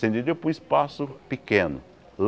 você entendeu para um espaço pequeno.